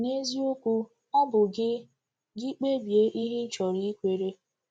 N’eziokwu, ọ bụ gị gị kpebie ihe ịchọrọ ikwere.